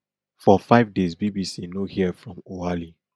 for five days bbc no hear from oualy